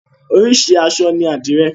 Oríṣi àṣọ ní àdìrẹ.